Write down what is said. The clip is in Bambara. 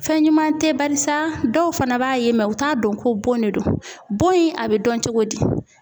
Fɛn ɲuman tɛ barisa dɔw fana b'a ye u t'a dɔn ko bon de don. Bon in a bɛ dɔn cogo di?